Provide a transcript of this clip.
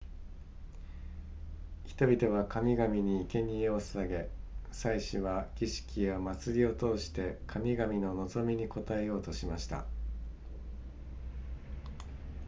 人々は神々に生け贄を捧げ祭司は儀式や祭りを通して神々の望みに応えようとしました